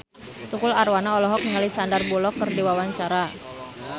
Tukul Arwana olohok ningali Sandar Bullock keur diwawancara